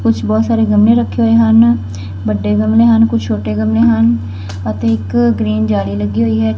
ਕੁਛ ਬਹੁਤ ਸਾਰੇ ਗਮਲੇ ਰੱਖੇ ਹੋਏ ਹਨ ਵੱਡੇ ਗਮਲੇ ਹਨ ਕੁਛ ਛੋਟੇ ਗਮਲੇ ਹਨ ਅਤੇ ਇੱਕ ਗ੍ਰੀਨ ਜਾਲੀ ਲੱਗੀ ਹੋਈ ਐ।